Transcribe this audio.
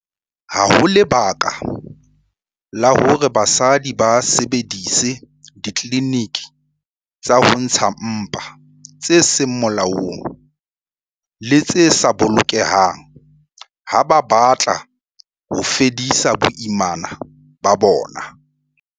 Ha ho lebaka la hore basadi ba sebedise ditliliniki tsa ho ntsha mpa tse seng molaong le tse sa bolokehang ha ba batla ho fedisa boimana ba bona.